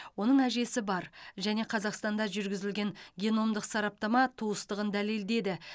оның әжесі бар және қазақстанда жүргізілген геномдық сараптама туыстығын дәлелдеді